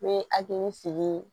N bɛ hakili sigi